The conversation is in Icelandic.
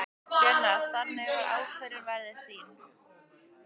Gunnar: Þannig að ákvörðunin verður þín?